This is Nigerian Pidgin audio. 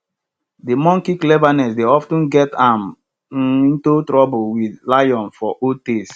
de monkey cleverness dey of ten get am um into trouble wit lion for old tales